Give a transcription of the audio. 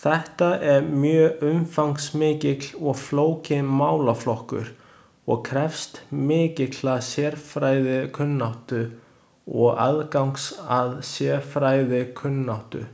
Þetta er mjög umfangsmikill og flókinn málaflokkur og krefst mikillar sérfræðikunnáttu eða aðgangs að sérfræðikunnáttu.